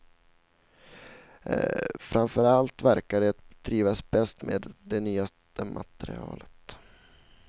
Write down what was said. Framför allt verkar de trivas bäst med det nyaste materialet.